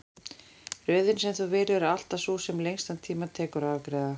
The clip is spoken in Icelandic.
Röðin sem þú velur er alltaf sú sem lengstan tíma tekur að afgreiða.